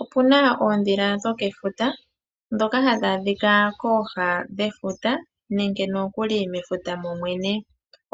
Opu na oondhila dhokefuta ndhoka hadhi adhika kooha dhefuta